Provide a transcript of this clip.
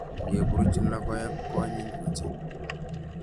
Ngeburuch lokoek koanyiny ochei.